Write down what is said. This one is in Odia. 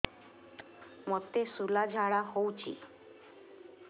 ମୋତେ ଶୂଳା ଝାଡ଼ା ହଉଚି